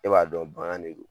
E b'a dɔn bagan de don.